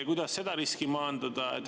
Kuidas seda riski maandada?